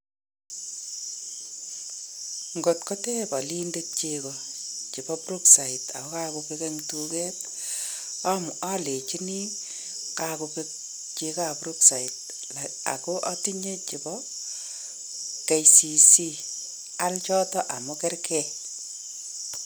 Ngot koteeb olindet cheko chebo Brookside ako kakobek eng duket, alenjini kakobeek chekoap Brookside ako atinye chebo KCC.Aal chotok amu kergei.